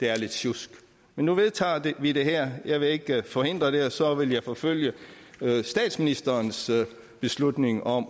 er lidt sjusk men nu vedtager vi det her og jeg vil ikke forhindre det og så vil jeg forfølge statsministerens beslutning om